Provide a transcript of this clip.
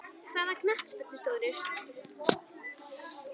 Hvaða knattspyrnustjórar stóðu sig og hverjir ekki?